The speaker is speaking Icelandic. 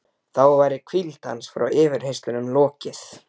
Þá væri hvíld hans frá yfirheyrslunum lokið.